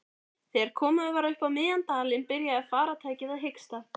Þegar komið var upp á miðjan dalinn byrjaði farartækið að hiksta.